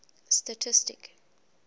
stastistic